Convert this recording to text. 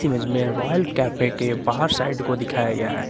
इसमें royal cafe के बाहर साइड को दिखाया गया है।